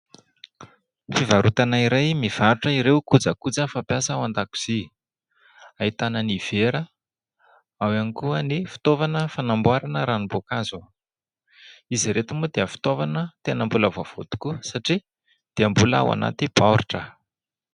Fivarotana iray mivarotra ireo kojakoja fampiasa ao an-dakozia, ahitana ny vera, ao ihany koa ny fitaovana fanamboarana ranom-boankazo. Izy ireto moa dia fitaovana tena mbola vaovao tokoa satria dia mbola ao anaty baoritra.